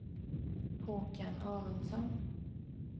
Håkan Aronsson